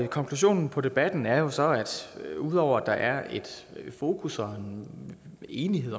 konklusionen på debatten er jo så at ud over at der er et fokus og en enighed